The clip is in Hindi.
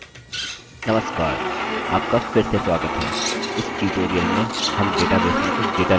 नमस्कार आपका फिर से स्वागत है इस ट्यूटोरियल में हम डेटाबेस में कुछ डेटा लिखेंगे